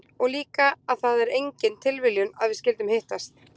Og líka að það er engin tilviljun að við skyldum hittast?